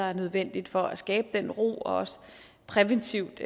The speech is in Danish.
er nødvendigt for at skabe den ro og også præventivt